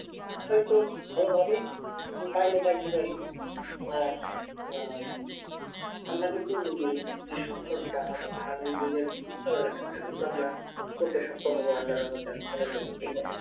হয়তো ভালো ভাবেই আর আহ কিন্তু আমরা করতে সক্ষম হবো আল্লার রহমতে আমি মনে করি